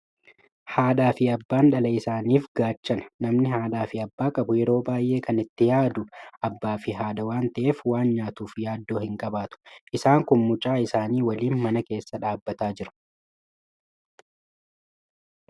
Haadhaa fi abbaan dhala isaaniif gaachana. Namni haadhaa fi abbaa qabu yeroo baay'ee kan itti yaadu abbaa fi haadha waan ta'eef, waan nyaatuuf yaaddoo hin qabaatu. Isaan kun mucaa isaanii waliin mana keessa dhaabbatanii jiru.